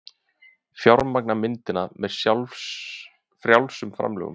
Fjármagna myndina með frjálsum framlögum